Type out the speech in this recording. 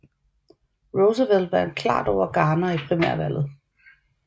Roosevelt vandt klart over Garner i primærvalget